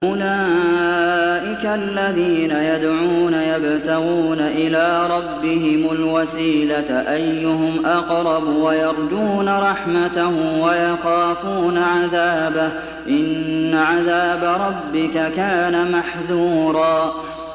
أُولَٰئِكَ الَّذِينَ يَدْعُونَ يَبْتَغُونَ إِلَىٰ رَبِّهِمُ الْوَسِيلَةَ أَيُّهُمْ أَقْرَبُ وَيَرْجُونَ رَحْمَتَهُ وَيَخَافُونَ عَذَابَهُ ۚ إِنَّ عَذَابَ رَبِّكَ كَانَ مَحْذُورًا